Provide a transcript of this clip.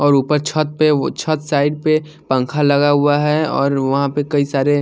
और ऊपर छत पे व छत साइड पे पंखा लगा हुआ है और वहां पर कई सारे--